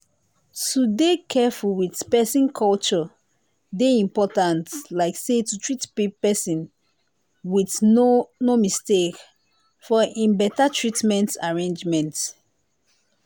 to dey careful with person culture they important like say to treat person with no no mistake for em better treatment arrangement.